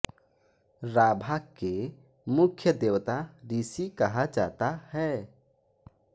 राभा के मुख्य देवता ऋषि कहा जाता है